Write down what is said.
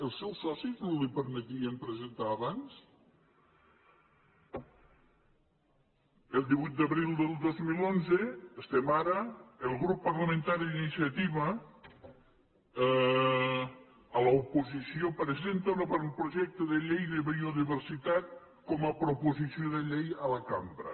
els seus socis no li permetien presentar ho abans el divuit d’abril del dos mil onze estem a ara el grup parlamentari d’iniciativa a l’oposició presenta un avantprojecte de llei de biodiversitat com a proposició de llei a la cambra